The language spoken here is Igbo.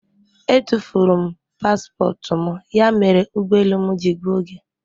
Etufuru m paspọtụ m ya mere ụgbọ elu m ji gbuo oge.